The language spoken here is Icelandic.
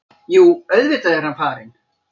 Jú, auðvitað er hann farinn.